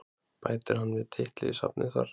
Bætir hann við titli í safnið þar?